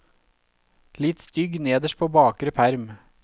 Litt stygg nederst på bakre perm.